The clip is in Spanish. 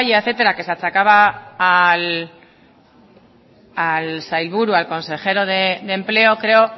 etcétera que se achacaba al sailburu al consejero de empleo creo